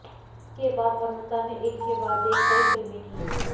इसके बाद अमृता ने एक के बाद एक कई फिल्में की